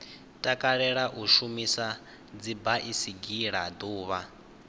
takalela u shumisa dzibaisigila ḓuvha